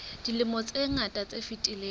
dilemong tse ngata tse fetileng